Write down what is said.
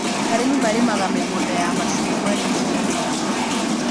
Arĩmi marĩmaga mĩgũnda ya macungwa rĩmwe na rĩmwe